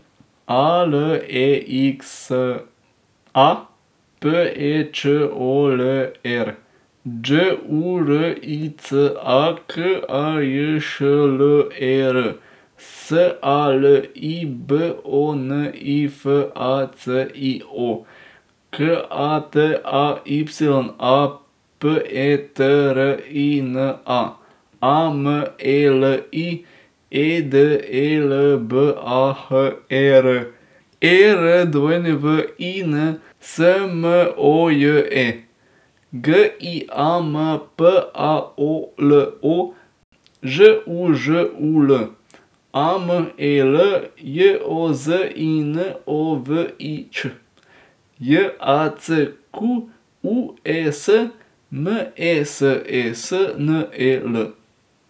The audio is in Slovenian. A L E X A, P E Č O L E R; Đ U R I C A, K A J Š L E R; S A L I, B O N I F A C I O; K A T A Y A, P E T R I N A; A M E L I, E D E L B A H E R; E R W I N, S M O J E; G I A M P A O L O, Ž U Ž U L; A M E L, J O Z I N O V I Ć; J A C Q U E S, M E S E S N E L.